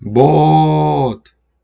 бот